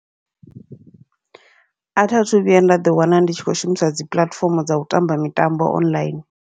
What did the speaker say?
Atha thu vhuya nda ḓi wana ndi tshi kho shumisa dzi puḽatifomo dza u tamba mitambo online.